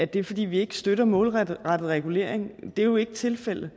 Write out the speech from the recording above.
det er fordi vi ikke støtter målrettet regulering men det er jo ikke tilfældet